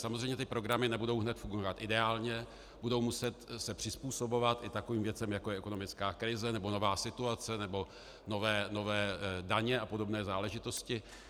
Samozřejmě ty programy nebudou hned fungovat ideálně, budou se muset přizpůsobovat i takovým věcem, jako je ekonomická krize nebo nová situace nebo nové daně a podobné záležitosti.